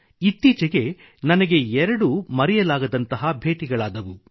ಇತ್ತೀಚೆಗೆ ನನಗೆ 2 ಮರೆಯಲಾಗದಂತಹ ಭೇಟಿಗಳಾದವು